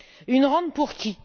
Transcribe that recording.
Une rente pour qui?